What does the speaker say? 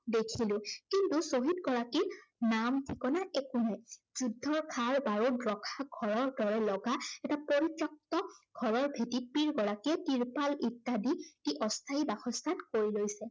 দেখিলো, কিন্তু শ্বহীদগৰাকীৰ নাম ঠিকনা একো নাই। যুদ্ধৰ খাৰ, বাৰুদ ৰখা দৰে লগা এটা পৰিত্য়ক্ত ঘৰৰ ভেটিত পীড় গৰাকীয়ে টিৰ্পাল ইত্য়াদি দি অস্থায়ী বাসস্থান কৰি লৈছে।